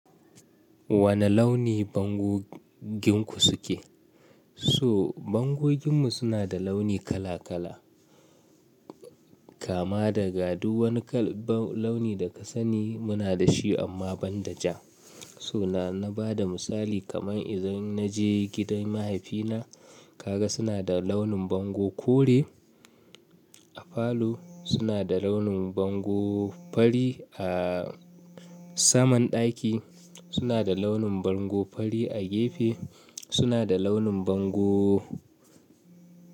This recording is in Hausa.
Wane launi bango ginku suke? So bangoginmu suna da launi kala kala. Kama daga du wani kal-- launi da ka sani muna da shi amma ban da ja. So na, na bada misali kaman idan na je gidan mahaifina ka ga suna da launin bango kore. A falo suna da launin bango fari, a saman ɗaki suna da launin bango fari, a gefe suna da launin bango.